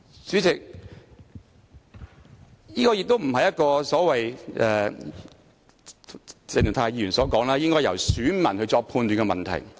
主席，這亦非如鄭松泰議員所說般應該由選民作出判斷的問題。